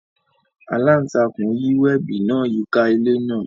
Alantakun yi webi naa yika ile naa.